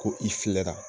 Ko i filɛra